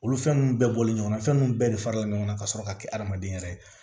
Olu fɛn ninnu bɛɛ bɔlen ɲɔgɔnna fɛn nunnu bɛɛ de fara la ɲɔgɔn kan ka sɔrɔ ka kɛ adamaden yɛrɛ ye